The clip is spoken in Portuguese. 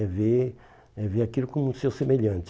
É ver é ver aquilo como seu semelhante.